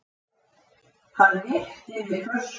Hann rétti mér flöskuna.